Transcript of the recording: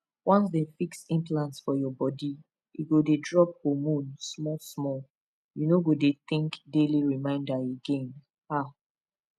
once dem fix implant for your body e go dey drop hormone smallsmall you no go dey think daily reminder again ah